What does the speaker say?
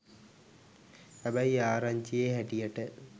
හැබැයි ආරංචියෙ හැටියට